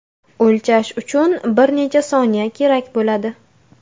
O‘lchash uchun bir necha soniya kerak bo‘ladi.